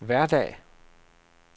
hverdag